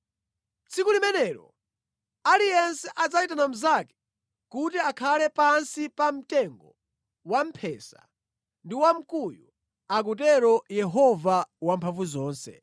“ ‘Tsiku limenelo aliyense adzayitana mnzake kuti akhale pansi pa mtengo wamphesa ndi wa mkuyu,’ akutero Yehova Wamphamvuzonse.”